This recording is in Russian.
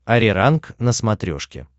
ариранг на смотрешке